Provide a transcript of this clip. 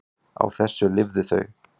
Á þessu lifðu þau.